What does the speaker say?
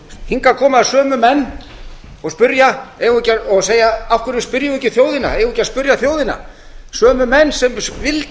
hingað koma sömu menn og segja af hverju spyrjum við ekki þjóðina eigum við ekki að spyrja þjóðina sömu menn sem vildu